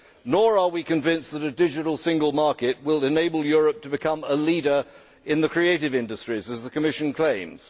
Nor are we convinced that a digital single market will enable Europe to become a leader in the creative industries, as the Commission claims.